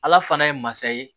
Ala fana ye masa ye